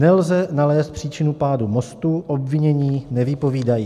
Nelze nalézt příčinu pádu mostu, obvinění nevypovídají.